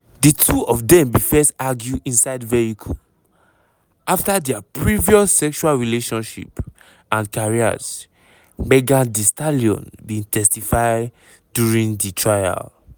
di two of dem bin first argue inside vehicle about dia previous sexual relationship and careers megan thee stallion bin testify during di trial.